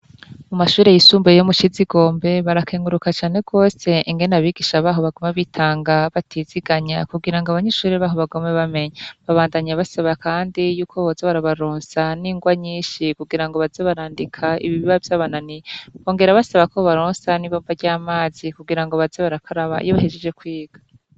Mu mashure yisumbuye yo mu cizigombe barakenguruka cane gose ingene abigisha baho baguma bitanga batiziganya kugira ngo abanyeshure baho bagume bamenya, babandanya basaba kandi y'uko boza barabaronsa n'ingwa nyinshi kugira ngo baze barandika ibiba vyabananiye, bongera basaba ko bobaronsa n'ibombo ry'amazi kugira ngo baze barakaraba iyo bahejeje kwiga.